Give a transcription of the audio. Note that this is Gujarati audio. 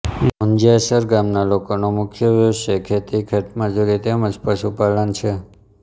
મુંજીયાસર નાના ગામના લોકોનો મુખ્ય વ્યવસાય ખેતી ખેતમજૂરી તેમ જ પશુપાલન છે